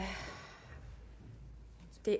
det